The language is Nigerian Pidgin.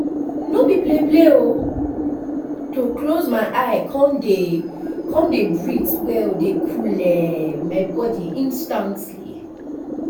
no be play play o to close my eye come dey come dey breathe well dey coole my body instantly